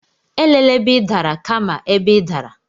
Elela ebe ị dara, kama ebe ị dara.